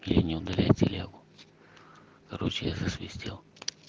или не удаляется и лягу короче я засвистел